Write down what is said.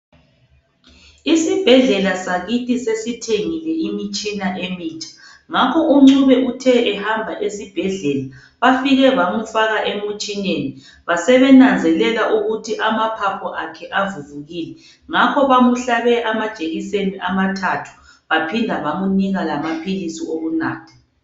isibhedlela sakithi sesithengile imitshina emitsha ngakho uNcube uthe ehamba esibhedlela bafike bamufaka emutshineni basebenazelela ukuthi amaphaphu akhe avuvukile ngakho bamuhlabe amajekiseni amathathu baphinda abamunika lamaphilisi okunatha